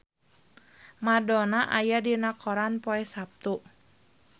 Madonna aya dina koran poe Saptu